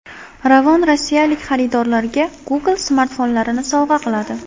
Ravon rossiyalik xaridorlariga Google smartfonlarini sovg‘a qiladi .